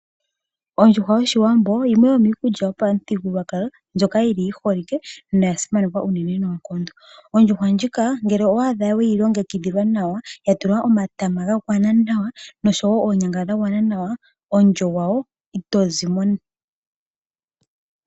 Ondjuhwa yoshiwambo yimwe yo miikulya yopamuthigululwakalo ndjoka yili yi holike no yasimanekwa uunene noonkondo. Ondjuhwa ndjika ngele owa adha weyi longekidhilwa nawa yatulwa omatama, noonyanga dhagwana nawa omulyo gwa wo ito zi mo.